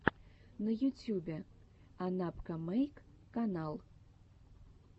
на ютюбе анапкамэйк канал